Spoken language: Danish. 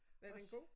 Var den god?